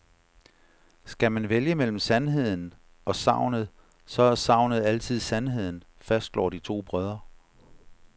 Skal man vælge mellem sandheden og sagnet, så er sagnet altid sandheden, fastslår de to brødre.